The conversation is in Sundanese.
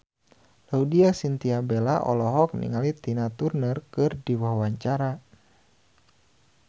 Laudya Chintya Bella olohok ningali Tina Turner keur diwawancara